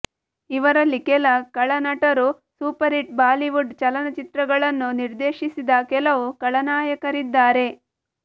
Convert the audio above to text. ಇವರಲ್ಲಿ ಕೆಲ ಖಳ ನಟರು ಸೂಪರ್ ಹಿಟ್ ಬಾಲಿವುಡ್ ಚಲನಚಿತ್ರಗಳನ್ನು ನಿರ್ದೇಶಿಸಿದ ಕೆಲವು ಖಳನಾಯಕರಿದ್ದಾರೆ